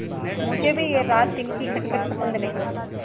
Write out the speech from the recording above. मुझे भी यह रातदिन की खटखट पसंद नहीं